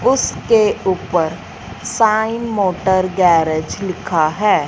उसके ऊपर Sai motor garage लिखा है।